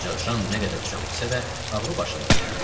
Ancaq Jan nə qədər çox içsə də, ağlı başında idi.